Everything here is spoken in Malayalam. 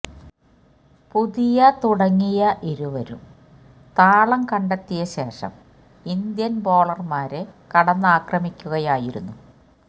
പതിയ തുടങ്ങിയ ഇരുവരും താളം കണ്ടെത്തിയെ ശേഷം ഇന്ത്യന് ബോളര്മാരെ കടന്നാക്രമിക്കുകയായിരുന്നു